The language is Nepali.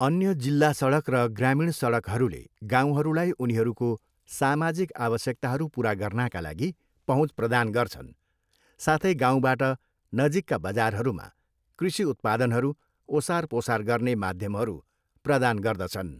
अन्य जिल्ला सडक र ग्रामीण सडकहरूले गाउँहरूलाई उनीहरूको सामाजिक आवश्यकताहरू पुरा गर्नाका लागि पहुँच प्रदान गर्छन् साथै गाउँबाट नजिकका बजारहरूमा कृषि उत्पादनहरू ओसारपसार गर्ने माध्यमहरू प्रदान गर्दछन्।